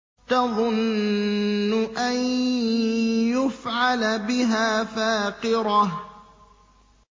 تَظُنُّ أَن يُفْعَلَ بِهَا فَاقِرَةٌ